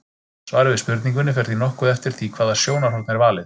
Svarið við spurningunni fer því nokkuð eftir því hvaða sjónarhorn er valið.